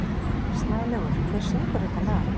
Snælaugur, hver syngur þetta lag?